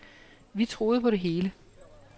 Vi troede på det hele.